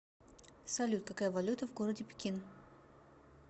салют какая валюта в городе пекин